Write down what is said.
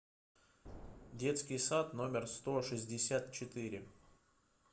детский сад номер сто шестьдесят четыре